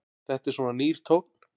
Þetta er svona nýr tónn.